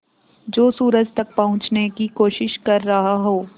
जो सूरज तक पहुँचने की कोशिश कर रहा हो